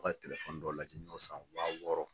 ka dɔ lajɛ n ɲ'o san wa wɔɔrɔ.